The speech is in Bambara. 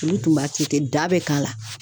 Olu tun b'a kɛ ten ten da be k'a la